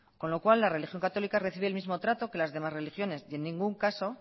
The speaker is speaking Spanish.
con lo cual la religión católica recibe el mismo trato que las demás religiones en ningún caso